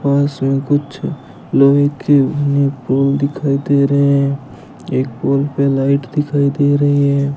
पास में कुछ लोहे के पोल दिखाई दे रहे हैं एक पोल पे लाइट दिखाई दे रही है।